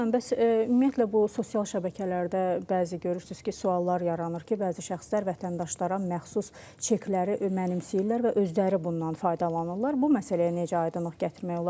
Zaur müəllim, bəs ümumiyyətlə bu sosial şəbəkələrdə bəzi görürsünüz ki, suallar yaranır ki, bəzi şəxslər vətəndaşlara məxsus çekləri mənimsəyirlər və özləri bundan faydalanırlar, bu məsələyə necə aydınlıq gətirmək olar?